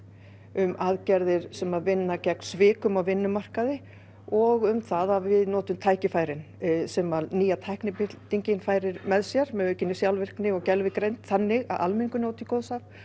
um aðgerðir sem vinna gegn svikum á vinnumarkaði og um það að við notum tækifærin sem að nýja tæknibyltingin færir með sér með aukinni sjálfvirkni og gervigreind þannig að almenningur njóti góðs af